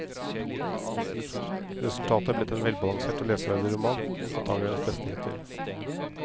Resultatet er blitt en velbalansert og leseverdig roman, antagelig hennes beste hittil.